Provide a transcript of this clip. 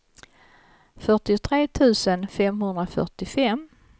fyrtiotre tusen femhundrafyrtiofem